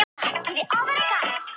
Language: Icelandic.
Pollrólegur dró hann fram stór